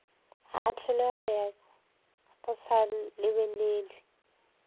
a ahlolwe go sa lebelelwe